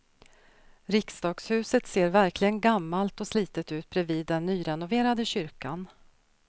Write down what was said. Riksdagshuset ser verkligen gammalt och slitet ut bredvid den nyrenoverade kyrkan.